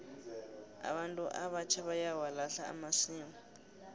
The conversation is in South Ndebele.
abantu abatjha bayawalahla amasiko